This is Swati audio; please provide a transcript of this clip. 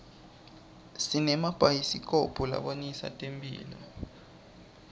simabhayisikobho labonisa temphilo